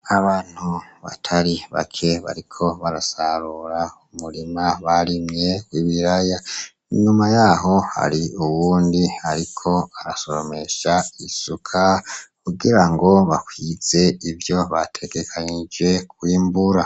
Abantu batari bake bariko barasarura umurima barimye wibiraya, inyuma yaho hari uwundi ariko arasoromesha isuka, kugira ngo bakwize ivyo bategekanyije kwimbura.